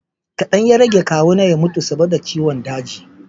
kadan ya rage kawu na ya mutu saboda ciwon daji